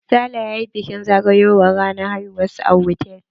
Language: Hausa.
Sale ya yi bikin zagayowar ranar haihuwar sa a hotal.